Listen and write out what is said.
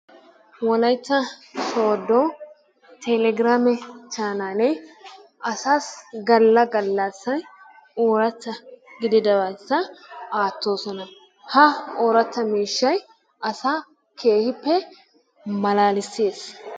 Wolaytta soodo telegiraamme chaanaallee asaassi galla galassan oorataa gididabata aatoososna. Ha oorata miishshay asaa keehippe malaalissees.